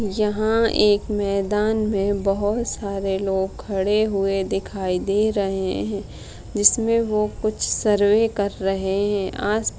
यहाँ एक मैदान में बहुत सारे लोग खड़े हुए दिखाई दे रहे है जिसमे वो कुछ सर्वे कर रहे है आस --